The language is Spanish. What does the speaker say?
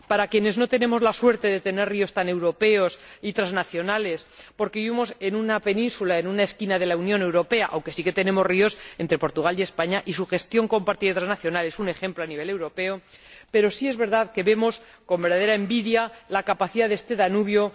Quienes no tenemos la suerte de tener ríos tan europeos y transnacionales porque vivimos en una península, en una esquina de la Unión Europea aunque sí que tenemos ríos entre Portugal y España, y su gestión compartida y transnacional es un ejemplo a nivel europeo sí es verdad que vemos con verdadera envidia la capacidad de este Danubio.